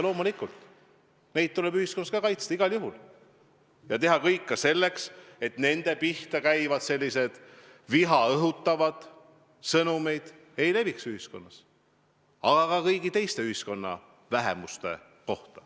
Loomulikult tuleb ka neid ühiskonnas kaitsta, igal juhul, ja teha kõik selleks, et nende pihta käivad viha õhutavad sõnumid ühiskonnas ei leviks, aga sama kehtib ka kõigi teiste ühiskonnas olevate vähemuste kohta.